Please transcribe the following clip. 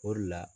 O de la